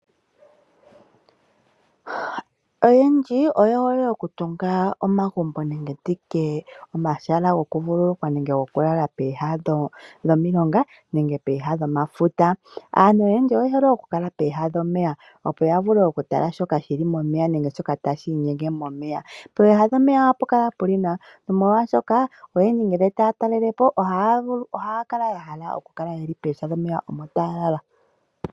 Oyendji oye hole oku tunga omagumbo nenge nditye omahala goku vululukwa nenge goku lala pooha dhomilonga nenge pooha dhomafuta. Aantu oyendji oye hole oku kala pooha dhomeya opo ya vule oku tala shoka shili momeya nenge shoka tashi inyenge momeya. Pooha dhomeya ohapu kala pu li nawa nomolwaashoka oyendji ngele taya talele po, ohaya kala ya hala oku kala pooha dhomeya opo taya lala.